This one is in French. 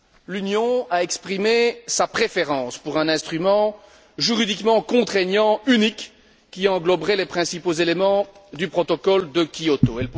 L'Union a exprimé sa préférence pour un instrument juridiquement contraignant unique qui engloberait les principaux éléments du protocole de Kyoto.